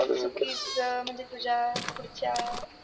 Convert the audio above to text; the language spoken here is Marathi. उगीच म्हणजे तुझ्या पुढच्या